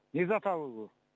не зат алу